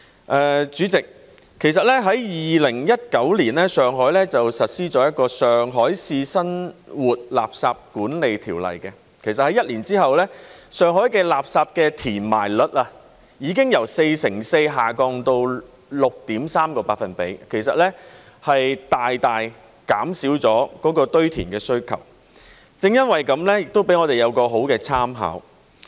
代理主席 ，2019 年，上海實施了《上海市生活垃圾管理條例》。一年後，上海的垃圾填埋率已經由四成四下降至 6.3%， 大大減少了堆填的需求，這亦作為我們很好的參考。